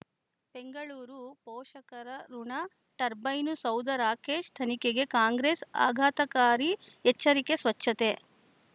ಬೆಂಗಳೂರು ಪೋಷಕರಋಣ ಟರ್ಬೈನು ಸೌಧ ರಾಕೇಶ್ ತನಿಖೆಗೆ ಕಾಂಗ್ರೆಸ್ ಆಘಾತಕಾರಿ ಎಚ್ಚರಿಕೆ ಸ್ವಚ್ಛತೆ